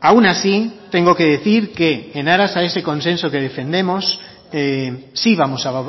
aun así tengo que decir que en aras a ese consenso que defendemos sí vamos a